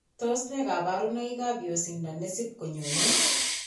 Tos nee kabarunaik ab yosindo nesip konyone